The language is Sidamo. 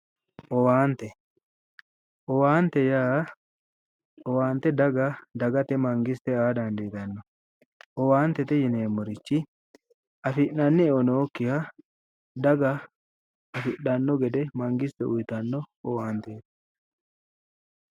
Owaante, owaante yaa owaate dagate mangisite aa dandiitanno, owaantete yineemmorichi afi'nanni eo nookkiha daga afidhanno gede mangisite uytanno owaanteeti.